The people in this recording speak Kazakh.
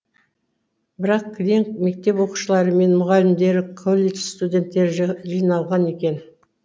бірақ кілең мектеп оқушылары мен мұғалімдері колледж студенттері жиналған екен